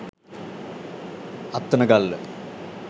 attanagalla